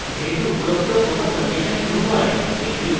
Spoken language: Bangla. যেহেতু উপরোক্ত কোনো কন্ডিশন true নয়